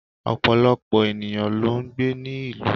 Òpọ̀lọpọ̀ ènìyàn ló n gbé ní ìlú